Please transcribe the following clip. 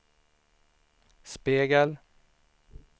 spegel